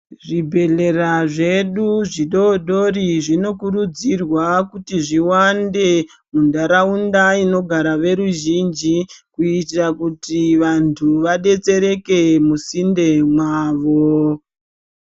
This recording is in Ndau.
Zvibhedhlera zvedu zvidodori zvinokurudzirwa kuti zviwande muntaraunda inogara veruzhinji kuitira kuti vantu vadetsereke musinde mwawo.